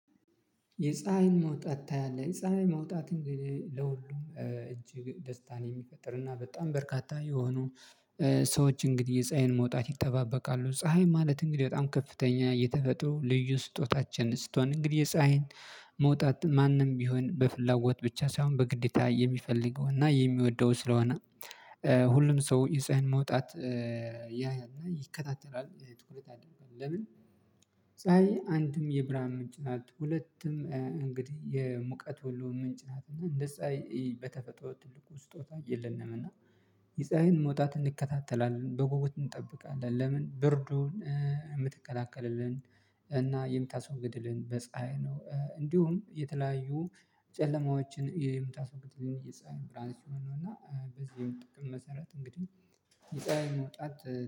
የፀሀይን መውጣት ታያለህ የፀሀይ መውጣት እንግዲህ ለሁሉም እጅግ ደስታን የሚፈጥርና በጣም በርካታ የሆኑ ሰዎች እንግዲህ የፀሀይን መውጣት ይተባበቃሉ። ፀሀይ ማለት እንግዲህ በጣም ከፍተኛ የተፈጥሮ ልዩ ስጦታችን ስትሆን እንግዲህ የፀሀይን መውጣት ማንም ቢሆን በፍላጎት ብቻ ሳይሆን በግዴታ የሚፈልገው እና የሚወደው ስለሆነ። ሁሉም ሰው የጸሃይን መውጣት ያያል እና ይከታተላል ትኩረት አደረገም። ለምን? ፀሀይ አንድም የብርሀን ምንጭ ናት ሁለትም እንግዲህ የሙቀት ሁሉ ምንጭ ናት። እና እንደ ፀሀይ በተፈጠረው ትልቁ ስጦታ የለንም። እና የፀሀይን መውጣት እንከታተላለን በጉጉት እንጠብቃለን። ለምን? ብርዱን የምትከታከልልን እና የምታስወግድልን በፀሀይ ነው። እንዲሁም የተለያዩ ጨለማዎችን የምታስወግድልን የፀሀይ ብርሃን ሲሆን ነው። እና በዚህም ጥቅም መሰረት እንግዲህ የፀሀይ መውጣት